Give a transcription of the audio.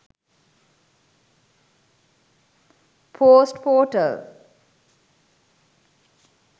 post portal